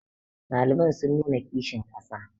ɗaliban sun nuna kishin ƙasa